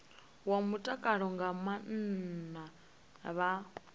wa mutakalo nga maana vha